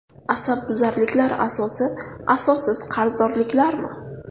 Asabbuzarliklar asosi asossiz qarzdorliklarmi?.